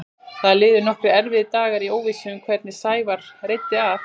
Það liðu nokkrir erfiðir dagar í óvissu um hvernig Sævari reiddi af.